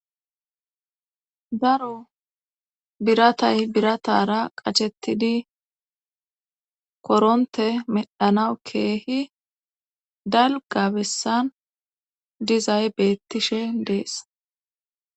Daro biratay biratara qachettidi koronte medhanawu keehi dalgabessan dizay bettishe dees.